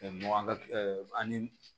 ani